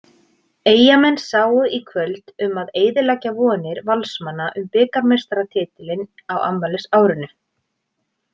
Eyjamenn sáu í kvöld um að eyðileggja vonir Valsmanna um bikarmeistaratitilinn á afmælisárinu.